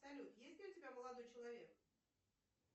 салют есть ли у тебя молодой человек